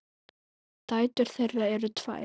Dætur þeirra eru tvær.